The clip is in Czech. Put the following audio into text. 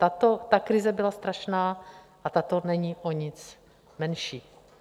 Ta krize byla strašná a tato není o nic menší.